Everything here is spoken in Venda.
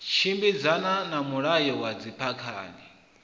tshimbidzana na mulayo wa dzikhamphani